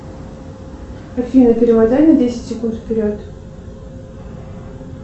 афина перемотай на десять секунд вперед